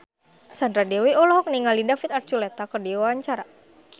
Sandra Dewi olohok ningali David Archuletta keur diwawancara